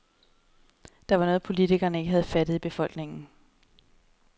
Der er noget, politikerne ikke har opfattet i befolkningen.